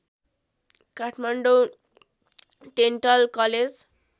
Kathmandu dental college